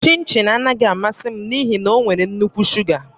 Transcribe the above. Chịnchịn anaghị amasị m n'ihi na ọ nwere nnukwu shuga